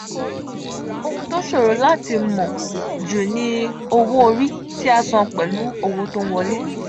ohun to soro lati mo ju ni owori ti a san pelu owo to n wole.